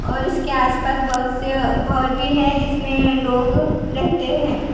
और इसके आस पास बहोत से घर भी है जिसमें लोग रहते हैं।